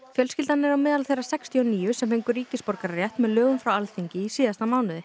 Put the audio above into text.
fjölskyldan er á meðal þeirra sextíu og níu sem fengu ríkisborgararétt með lögum frá Alþingi í síðasta mánuði